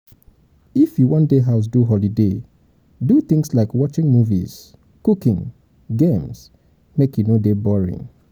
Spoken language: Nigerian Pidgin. if you won de house do holiday do things like watching movies cooking games make e e no de boring